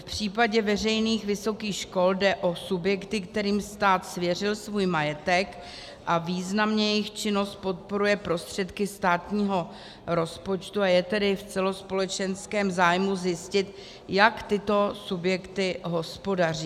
V případě veřejných vysokých škol jde o subjekty, kterým stát svěřil svůj majetek, a významně jejich činnost podporuje prostředky státního rozpočtu, a je tedy v celospolečenském zájmu zjistit, jak tyto subjekty hospodaří.